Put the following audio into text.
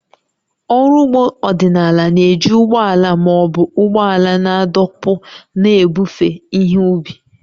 Ọrụ ugbo ọdịnala na-eji ụgbọ ala ma ọ bụ ụgbọala na-adọkpụ na-ebufe ihe ubi